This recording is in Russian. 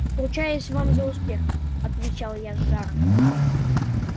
ручаюсь вам за успех отвечал я с жаром